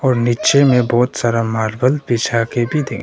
और नीचे में बहुत सारा मार्बल बिछा के भी दे--